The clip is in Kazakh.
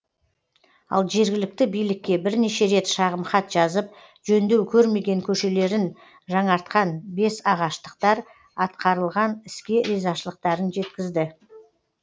ал жергілікті билікке бірнеше рет шағымхат жазып жөндеу көрмеген көшелерін жаңартқан бесағаштықтар атқарылған іске ризашылықтарын жеткізді